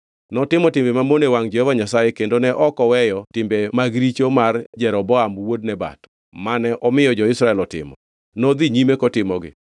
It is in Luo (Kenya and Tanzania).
Notimo timbe mamono e wangʼ Jehova Nyasaye kendo ne ok oweyo timbe mag richo mar Jeroboam wuod Nebat, mane omiyo jo-Israel otimo; nodhi nyime kotimogi.